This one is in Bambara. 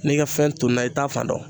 N'i ka fɛn tununna i t'a fan dɔn.